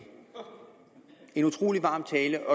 en utrolig varm tale